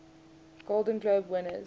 golden globe winners